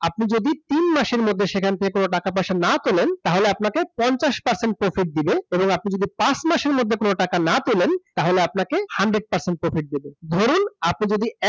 আপনি যদি তিন মাসের মধ্যে সেখান থেকে কোন টাকা-পয়সা না তোলেন তাহলে আপনাকে fifty percent profit দেবে এবং আপনি যদি পাঁচ মাসের মধ্যে কোন টাকা না তোলেন তাহলে আপনাকে hundred percent profit দেবে ধরুন